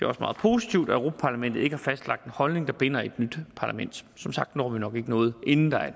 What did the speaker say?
også meget positivt at europa parlamentet ikke har fastlagt en holdning der binder et nyt parlament som sagt når vi nok ikke noget inden der